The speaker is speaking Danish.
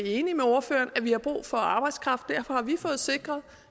enig med ordføreren at vi har brug for arbejdskraft derfor har vi fået sikret